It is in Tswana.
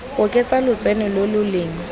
oketsa lotseno lo lo leng